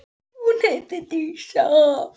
Hún heitir Dísa.